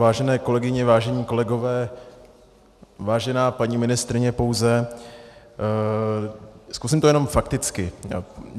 Vážené kolegyně, vážení kolegové, vážená paní ministryně pouze , zkusím to jenom fakticky.